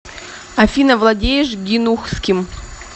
афина владеешь гинухским